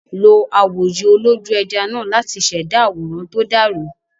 Lo awòye olójú-ẹja náà láti ṣẹ̀dá àwòrán tó dàrú.